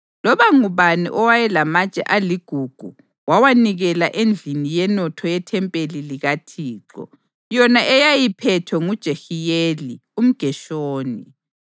Loba ngubani owayelamatshe aligugu wawanikela endlini yenotho yethempeli likaThixo yona eyayiphethwe nguJehiyeli umGeshoni.